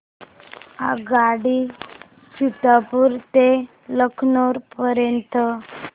आगगाडी सीतापुर ते लखनौ पर्यंत